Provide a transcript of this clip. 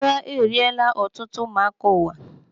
Agha eriela ọtụtụ ụmụaka ụwa.